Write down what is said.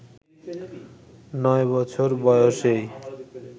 ৯ বছর বয়সেই